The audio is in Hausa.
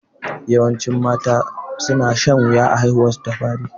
Yawancin mata su na shan wuya a haihuwar su ta fari